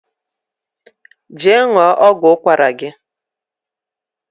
je ṅụọ ọgwụ ụkwara gi